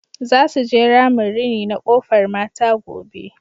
Za su je ramin rini na Kofar Mata gobe.